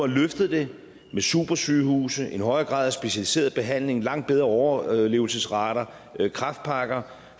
løftet det med supersygehuse en højere grad af specialiseret behandling langt bedre overlevelsesrater kræftpakker